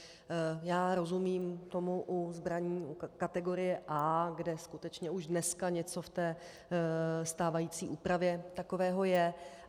Já rozumím tomu u zbraní kategorie A, kde skutečně už dneska něco v té stávající úpravě takového je.